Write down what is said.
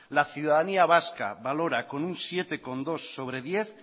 la ciudadanía vasca valora con un siete coma dos sobre diez